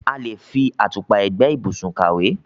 A le ń fi àtùpà ẹ̀gbẹ́ ìbùsùn kàwé.